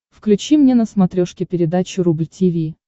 включи мне на смотрешке передачу рубль ти ви